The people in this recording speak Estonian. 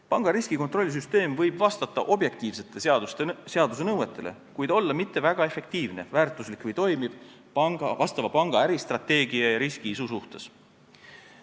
Panga riskikontrollisüsteem võib vastata objektiivsetele seaduse nõuetele, kuid ei pruugi olla mitte väga efektiivne, väärtuslik või toimiv vastava panga äristrateegia ja riski-isu suhtes.